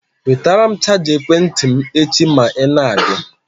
Wetara m chaja ekwentị m echi ma i na-abịa.